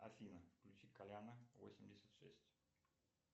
афина включи коляна восемьдесят шесть